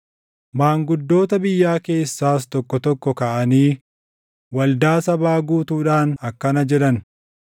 Maanguddoota biyyaa keessaas tokko tokko kaʼanii waldaa sabaa guutuudhaan akkana jedhan;